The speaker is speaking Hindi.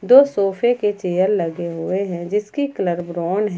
दो सोफे के चेयर लगे हुए हैं जिसका कलर ब्राउन है।